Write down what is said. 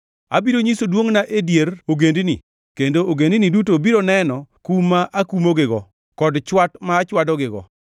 “Abiro nyiso duongʼna e dier ogendini, kendo ogendini duto biro neno kum ma akumogigo kod chwat ma achwadogigo.